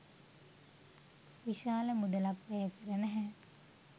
විශාල මුදලක් වැයකර නැහැ.